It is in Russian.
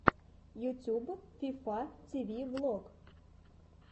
ютюб фифа ти ви влог